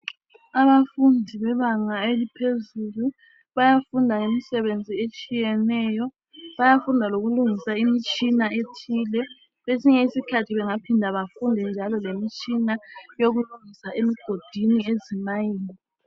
Abafundi bebanga eliphezulu bayafunda ngemisebenzi etshiyeneyo bayafunda lokulungisa imitshina ethile kwesinye isikhathi bengaphinda bafunda lemitshina yokulungisa emigodini ezimayini.